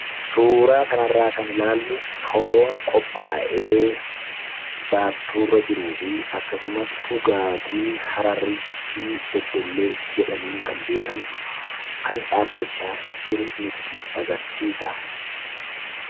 Suuraa kanarraa kan ilaallu foon qophaa'ee baattuurra jiruu fi akkasumas dhugaatii Hararii fi Beddellee jedhamuun kan beekamu kan dhaabbachaa jiru nutti agarsiisa.